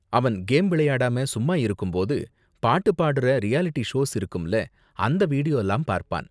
அவன் கேம் விளையாடாம சும்மா இருக்கும் போது, பாட்டு பாடுற ரியாலிட்டி ஷோஸ் இருக்கும்ல, அந்த வீடியோலாம் பார்ப்பான்.